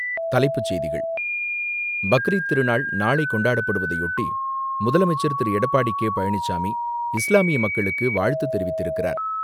தலைப்புச்செய்திகள் பக்ரீத் திருநாள் நாளை கொண்டாடப்படுவதையொட்டி, முதலமைச்சர் திரு.எடப்பாடி கே.பழனிச்சாமி இஸ்லாமிய மக்களுக்கு வாழ்த்து தெரிவித்திருக்கிறார்.